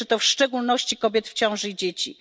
Dotyczy to w szczególności kobiet w ciąży i dzieci.